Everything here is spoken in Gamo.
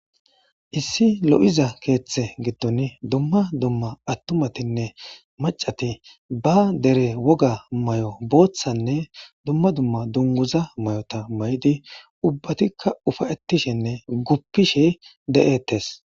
issi lo'iza keeththe giddon dumma dumma attumatinne macati ba dere woga mayo booththanne dumma dumma dunguza mayota maydi ubbatikka ufayettishinne guppishi de'ettes